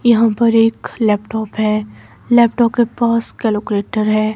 यहाँ पर एक लैपटॉप है लैपटॉप के पास कैलकुलेटर है।